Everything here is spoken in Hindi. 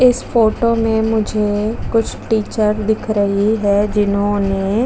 इस फोटो में मुझे कुछ टीचर दिख रही है जिन्होंने --